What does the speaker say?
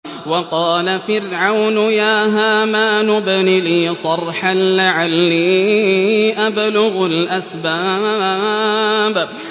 وَقَالَ فِرْعَوْنُ يَا هَامَانُ ابْنِ لِي صَرْحًا لَّعَلِّي أَبْلُغُ الْأَسْبَابَ